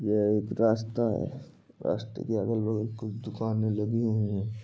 ये एक रास्ता है। रास्ते के अगल बगल कुछ दुकानें लगी हुई हैं।